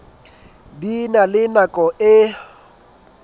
di na le nako e